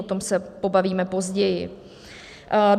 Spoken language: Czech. O tom se pobavíme později.